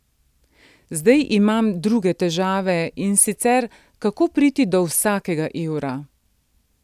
Zdaj imam druge težave, in sicer kako priti do vsakega evra.